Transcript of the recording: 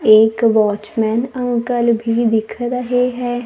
एक watchman uncle भी दिख रहे हैं।